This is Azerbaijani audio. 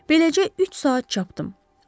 Beləcə üç saat çapdı.